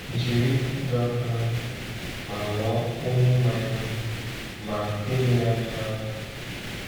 Jiri ịdọ aka ná ntị ma ghọọ onye ma ihe, ma elegharịla anya.